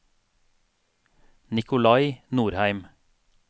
Nicolai Norheim